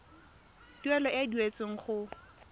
tuelo e e duetsweng go